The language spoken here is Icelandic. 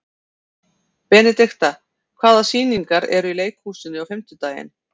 Benidikta, hvaða sýningar eru í leikhúsinu á fimmtudaginn?